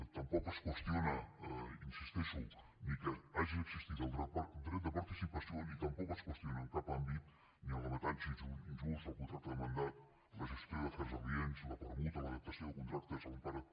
tampoc es qüestiona hi insisteixo ni que hagi existit el dret de participació ni tampoc es qüestiona en cap àmbit ni l’avantatge injust el contracte de mandat la gestió d’afers aliens la permuta l’adaptació de contractes a l’empara